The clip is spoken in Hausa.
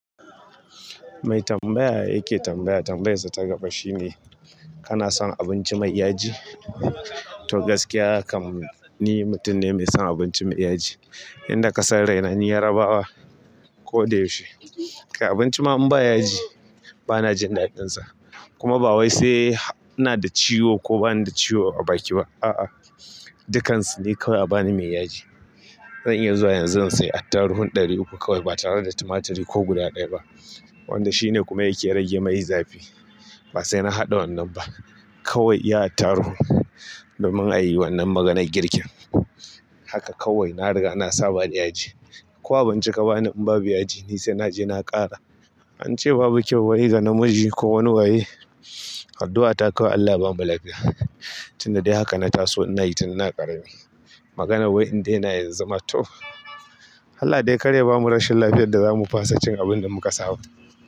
Mai tambaya yake tambaya tambayassa tagaba shine kanason abinci mai yaji. To gaskiya haka ne, ni mutum ne mai son abinci mai yaji. Inda ka san raina ni Yarabawa ko dai shi. Kai abinci ma in ba ya ji, bana jin daɗinsa. Kuma ba wai sai ina da ciwo ko bana da ciwo a baki ba. A'a, dukkansu ne kawai a bani mai yaji. Zan iya zuwa yanzu zan sayi attaruhin ɗari uku kawai ba tare da timatiri ko guda ɗaya ba. Wanda shine kuma yake rage mai zafi. Ba sai na haɗa wannan ba. Kawai yi attaruhun, da mun yi wannan maganar girkin. Haka kawai na riga na saba da yaji. Ko abun ci ka ba ni in babu yaji, ni sai naje na ƙara. An ce babu kyau waye ga namiji ko wani waye. Addu'ata kawai ALLAH yabamu lafiya. Tunda dai haka na taso ina yi tun ina ƙarami. Maganar wai in daina yanzu ma to, ALLAH dai karya bamu rashin lafiyar da zamu fasa cin abin da muka saba.